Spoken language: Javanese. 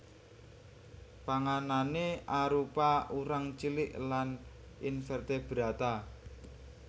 Panganané arupa urang cilik lan invertebrata